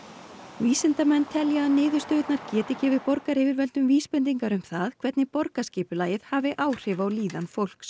vísindamenn telja að niðurstöðurnar geti gefið borgaryfirvöldum vísbendingar um það hvernig borgarskipulagið hafi áhrif á líðan fólks